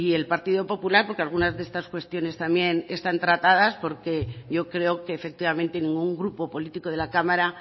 el partido popular porque algunas de estas cuestiones también están tratadas porque yo creo que efectivamente ningún grupo político de la cámara